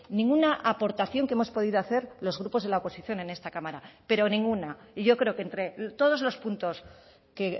ninguna aportación que hemos podido hacer los grupos de la oposición en esta cámara pero ninguna y yo creo que entre todos los puntos que